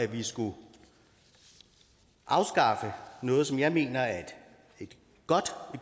vi skulle afskaffe noget som jeg mener er en